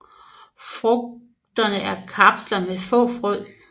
Frugterne er kapsler med få frø